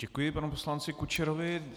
Děkuji panu poslanci Kučerovi.